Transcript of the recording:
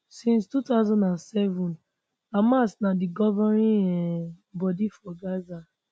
since 2007 hamas na di governing um body for gaza